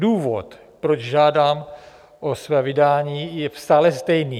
Důvod, proč žádám o své vydání, je stále stejný.